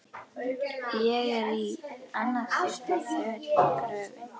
Ég er- í annað skiptið- þögull sem gröfin.